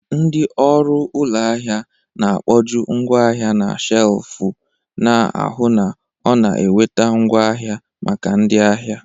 Ndị ọrụ ụlọ ahịa na-akpojuu ngwaahia na shelvu, na-ahụ na ọ na-enweta ngwaahịa maka ndị ahịa.